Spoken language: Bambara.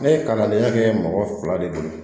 Ne ye kalandenya kɛ mɔgɔ fila de bolo